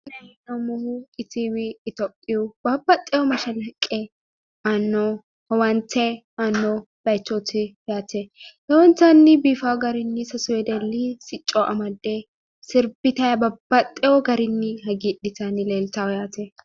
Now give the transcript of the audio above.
La'nayi hee'noommohu itiiwi itophiiyu babbaxxiyo mashalaqqe aanno owaante aanno bayiichooti yaate lowontanni biifawo garinni sasu wedelli sicco amadde sirbitayi babbaxxeyo garinni hagiidhitanni leeltawo yaate.